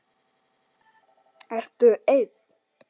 Ertu ein?